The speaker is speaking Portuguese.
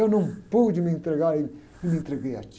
Eu não pude me entregar e, e me entreguei a ti.